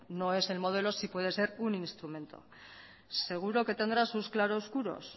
no es el modelo sí puede ser un instrumento seguro que tendrá sus claroscuros